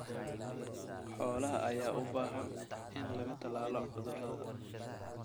Xoolaha ayaa u baahan in laga tallaalo cudurrada.